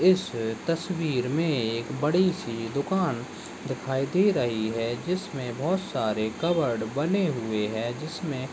इस तस्वीर मे एक बड़ी सी दुकान दिखाई दे रही है जिसमे बहुत सारे कबर्ड बने हुये है। जिसमे--